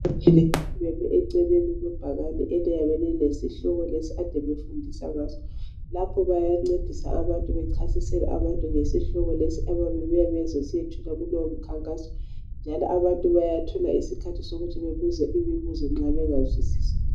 Abantu bemi eceleni kwebhakane eliyabe lilesihloko lesi kade befundisa ngaso. Lapho bayancedisa abantu bechasisela ngesihloko lesi ababuya besiyethula kolowo mkhankaso njalo abantu bayathola isikhathi sokuthi bebuze imibuzo nxa bengazwisisi.